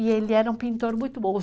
E ele era um pintor muito